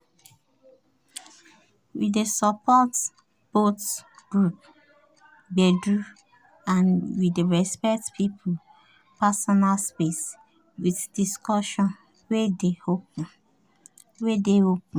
we dey support both group gbedu and we dey respect people personal space with discussion wey dey open